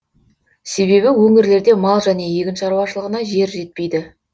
себебі өңірлерде мал және егін шаруашылығына жер жетпейді